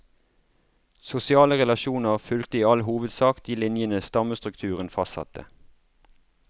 Sosiale relasjoner fulgte i all hovedsak de linjene stammestrukturen fastsatte.